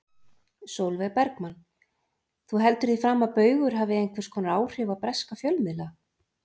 Sólveig Bergmann: Þú heldur því fram að Baugur hafi einhvers konar áhrif á breska fjölmiðla?